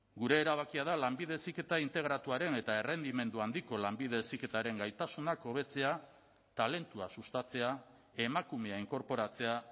gure erabakia da lanbide heziketa integratuaren eta errendimendu handiko lanbide heziketaren gaitasunak hobetzea talentua sustatzea emakumea inkorporatzea